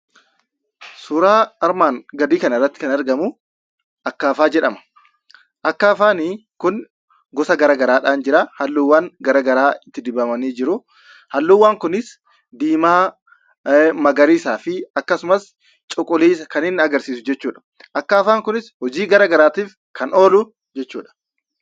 Suuraa armaan gadii kanarratti kan argamuu akkaafaa jedhama. Akkaafaani kun gosa garaa garaadhaan jira. Halluuwwan gara garaa itti dibamanii jiruu. Halluuwwan kunis diimaa, magariisaa fi akkasumas cuquliisa kan inni agarsiisu jechuudha. Akkaafaan kunis hojii garaa garaatiif kan oolu jechuudha.